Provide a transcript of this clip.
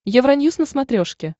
евроньюс на смотрешке